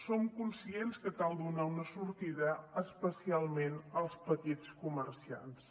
som conscients que cal donar una sortida especialment als petits comerciants